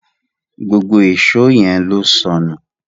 gbógbó Èṣó yén ló sọnù